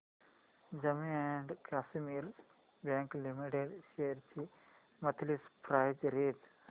Jammu and Kashmir bank limited shares ची monthly price range